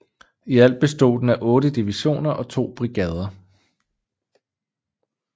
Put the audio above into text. I alt bestod den af otte divisioner og to brigadeer